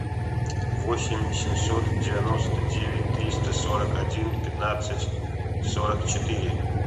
восемь семьсот девяносто девять триста сорок один пятнадцать сорок четыре